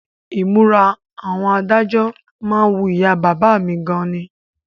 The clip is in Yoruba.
Ìmúra àwọn adájọ́ má ń wu ìyá bàbá mi gan ni